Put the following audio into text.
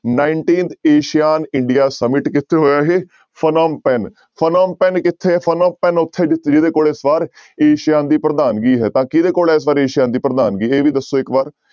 Nineteenth asean india summit ਕਿੱਥੇ ਹੋਇਆ ਇਹ ਫਨਿਮਪੈਨ ਫਨਿਮਪੈਨ ਕਿੱਥੇ ਹੈ ਫਨਿਮਪੈਨ ਉੱਥੇ ਜਿ ਜਿਹਦੇ ਕੋਲ ਇਸ ਵਾਰ ਏਸੀਆ ਦੀ ਪ੍ਰਧਾਨਗੀ ਹੈ, ਤਾਂ ਕਿਹਦੇ ਕੋਲ ਇਸ ਵਾਰ ਏਸੀਆ ਦੀ ਪ੍ਰਧਾਨਗੀ ਇਹ ਵੀ ਦੱਸੋ ਇੱਕ ਵਾਰ।